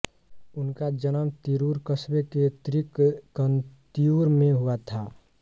उनका जन्म तिरुर कस्बे के त्रिक्कन्तियुर में हुआ था